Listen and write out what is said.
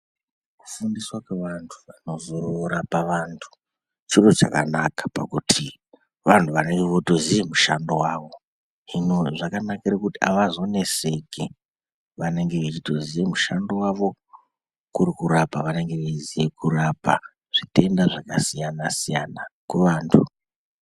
Kufundiswa kwevantu vanozorapa vantu chiro chakanaka pakuti vanhu vanenge votoziye mushando wavo. Hino zvakanakira kuti avazoneseki vanenge vechitoziya mushando wavo kurikuraoa vanenge vechitoziya zvitenda zvakasiyana -siyana kuvantu.